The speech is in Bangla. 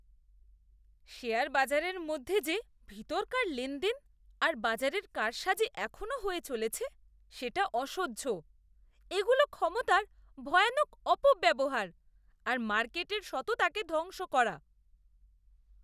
শেয়ারবাজারের মধ্যে যে ভিতরকার লেনদেন আর বাজারের কারসাজি এখনও হয়ে চলেছে, সেটা অসহ্য। এগুলো ক্ষমতার ভয়ানক অপব্যবহার, আর মার্কেটের সততাকে ধ্বংস করা।